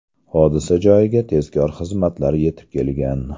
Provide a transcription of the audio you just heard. Hodisa joyiga tezkor xizmatlar yetib kelgan.